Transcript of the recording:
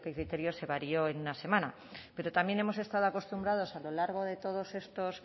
critero se varió en una semana pero también hemos estado acostumbrados a lo largo de todos estos